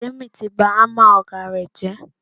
Tèmi ti bá hámà ọ̀gá rẹ̀ jẹ́.